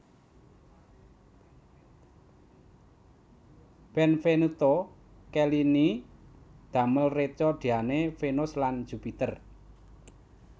Benvenuto Cellini damel reca Diane Vénus lan Jupiter